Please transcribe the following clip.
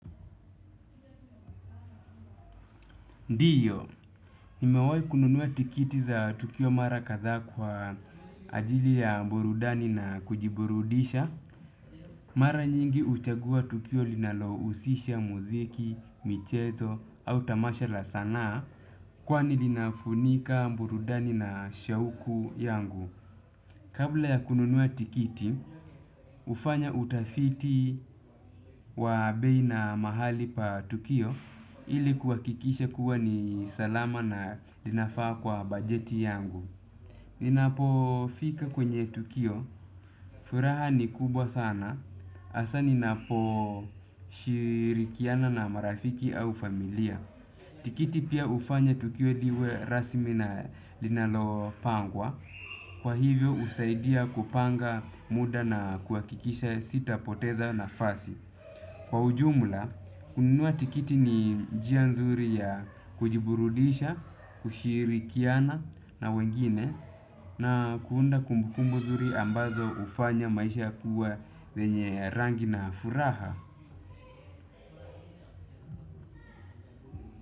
Ndiyo, nimewahi kununua tikiti za tukio mara kadha kwa ajili ya burudani na kujiburudisha. Mara nyingi huchagua tukio linalo husisha muziki, michezo, au tamashala sanaa kwani linafunika burudani na shauku yangu. Kabla ya kununua tikiti, hufanya utafiti wa beina mahali pa tukio ilikuha kikisha kuwa ni salama na linafaa kwa bajeti yangu. Ninapo fika kwenye tukio, furaha ni kubwa sana, hasa ninapo shirikiana na marafiki au familia. Tikiti pia hufanya tukio liwe rasmi na linalo pangwa. Kwa hivyo husaidia kupanga muda na kuhakikisha sita poteza na fasi. Kwa ujumla, kununua tikiti ni njia nzuri ya kujiburudisha, kushiri kiana na wengine na kuunda kumbukumbu nzuri ambazo hufanya maisha kuwa yenye rangi na furaha.